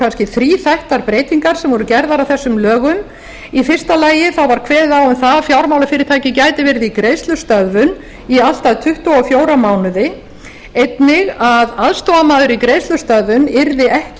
kannski þríþættar breytingar sem voru gerðar á þessum lögum í fyrsta lagi var kveðið á um að fjármálafyrirtæki gæti verið í greiðslustöðvun í allt að tuttugu og fjóra mánuði einnig að aðstoðarmaður í greiðslustöðvun yrði ekki